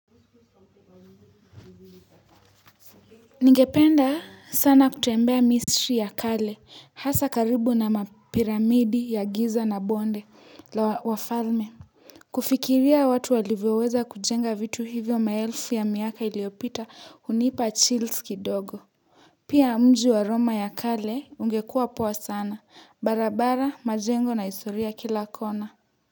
Ningependa sana kutembea misri ya kale hasa karibu na mapiramidi ya giza na bonde la wafalme kufikiria watu walivyoweza kujenga vitu hivyo maelfu ya miaka iliyopita hunipa chills kidogo pia mji wa roma ya kale ungekua poa sana barabara majengo na historia kila kona.